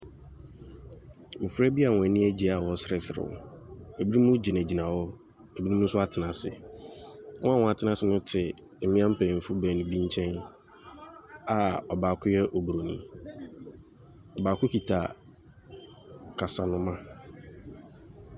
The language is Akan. Mmɔfra bi a wɔn ani agye a wɔresereserew. Ebinom gyinagyina hɔ, ebinom nso atena ase. Wɔn a wɔatena ase no te mmea mpanyimfo baanu bi nkyɛn a ɔbaako yɛ Oburoni. Ↄbaako kita kasanoma.